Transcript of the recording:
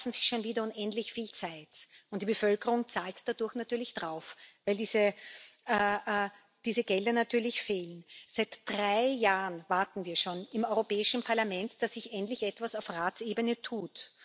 Sie lassen sich schon wieder unendlich viel Zeit, und die Bevölkerung zahlt dadurch natürlich drauf, weil diese Gelder natürlich fehlen. Seit drei Jahren warten wir schon im Europäischen Parlament, dass sich endlich etwas auf Ratsebene tut.